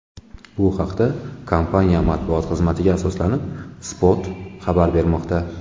Bu haqda, kompaniya matbuot xizmatiga asoslanib, Spot xabar bermoqda .